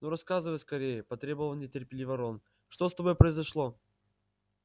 ну рассказывай скорее потребовал нетерпеливо рон что с тобой произошло